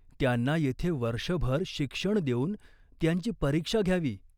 त्यांना येथे वर्षभर शिक्षण देऊन त्यांची परीक्षा घ्यावी.